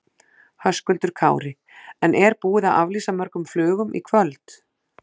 Höskuldur Kári: En er búið að aflýsa mörgum flugum í kvöld?